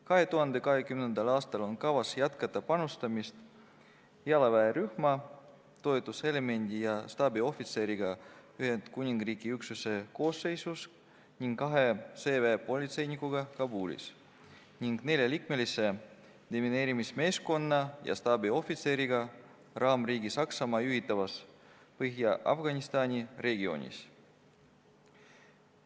2020. aastal on kavas jätkata panustamist jalaväerühma toetuselemendi ja staabiohvitseriga Ühendkuningriigi üksuse koosseisus ning kahe sõjaväepolitseinikuga Kabulis, samuti neljaliikmelise demineerimismeeskonna ja staabiohvitseriga raamriigi Saksamaa juhitavas Põhja-Afganistani regioonis.